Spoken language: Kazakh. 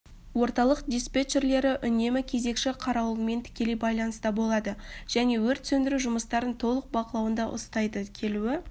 орталық диспетчерлері үнемі кезекші қарауылмен тікелей байланыста болады және өрт сөндіру жұмыстарын толық бақылауында ұстайды келуі